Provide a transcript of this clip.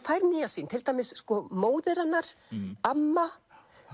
fær nýja sýn til dæmis sko móðir hennar amma